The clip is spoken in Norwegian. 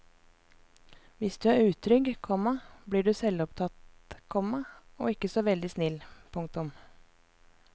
Hvis du er utrygg, komma blir du selvopptatt, komma og ikke så veldig snill. punktum